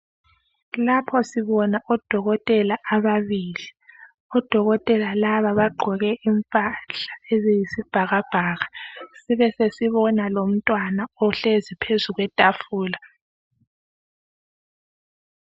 Lapho sibona odokotela ababili, odokotela laba bagqoke impahla eziyisibhakabhakabhaka sibesesibona umntwana uhlezi phezu kwetafula.